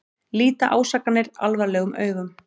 Líta ásakanir alvarlegum augum